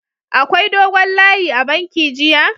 Akwai dogon layi a'banki jiya??